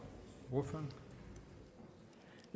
noget